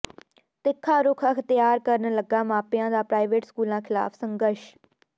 ਤਿੱਖਾ ਰੁੱਖ ਅਖਤਿਆਰ ਕਰਨ ਲੱਗਾ ਮਾਪਿਆਂ ਦਾ ਪ੍ਰਾਈਵੇਟ ਸਕੂਲਾਂ ਿਖ਼ਲਾਫ਼ ਸੰਘਰਸ਼